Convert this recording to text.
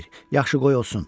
Yaxşı, qoy olsun.